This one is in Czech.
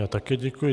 Já také děkuji.